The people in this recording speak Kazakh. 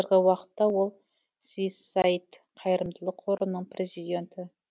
қазіргі уақытта ол свиссаид қайырымдылық қорының президенті